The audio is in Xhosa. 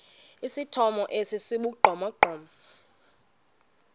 esithomo esi sibugqomogqomo